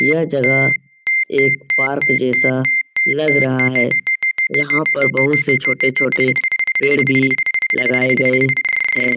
यह जगह एक पार्क जैसा लग रहा है यहाँ पे बहुत से छोटे-छोटे पेड़ भी लगाये गए हैं।